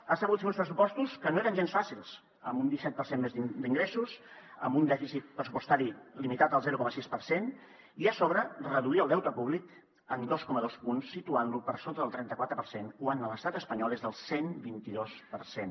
ha sabut fer uns pressupostos que no eren gens fàcils amb un disset per cent més d’ingressos amb un dèficit pressupostari limitat al zero coma sis per cent i a sobre reduir el deute públic en dos coma dos punts situant lo per sota del trenta quatre per cent quan a l’estat espanyol és del cent i vint dos per cent